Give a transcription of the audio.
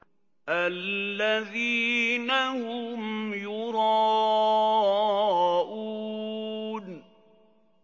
الَّذِينَ هُمْ يُرَاءُونَ